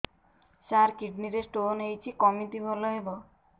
ସାର kidney ରେ stone ହେଇଛି କମିତି ଭଲ ହେବ